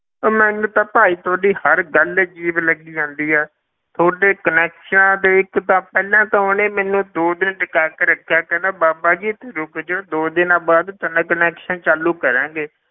ਉਹ ਮੈਨੂੰ ਤਾਂ ਭਾਈ ਤੁਹਾਡੀ ਹਰ ਗੱਲ ਅਜ਼ੀਬ ਲੱਗੀ ਜਾਂਦੀ ਹੈ ਤੁਹਾਡੇ connections ਦੇ ਇੱਕ ਤਾਂ ਪਹਿਲਾਂ ਤਾਂ ਉਹਨੇ ਮੈਨੂੰ ਦੋ ਦਿਨ ਟਕਾ ਕੇ ਰੱਖਿਆ ਕਹਿੰਦਾ ਬਾਬਾ ਜੀ ਇੱਥੇ ਰੁੱਕ ਜਾਓ ਦੋ ਦਿਨਾਂ ਬਾਅਦ ਤੇਰਾ connection ਚਾਲੂ ਕਰਾਂਗੇ।